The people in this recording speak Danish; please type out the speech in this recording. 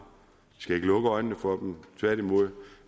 skal ikke lukke øjnene for dem tværtimod